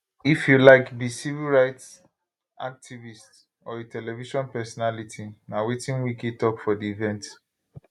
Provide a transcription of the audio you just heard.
if you like be civil rights activist or a television personality na wetin wike tok for di event